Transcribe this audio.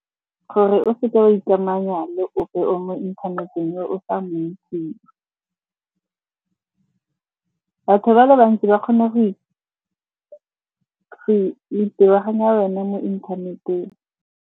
Gore o seke wa ikamanya le ope o mo inthaneteng yo o sa mo intseng. Batho ba le bantsi ba kgone go itebaganya wena mo inthaneteng.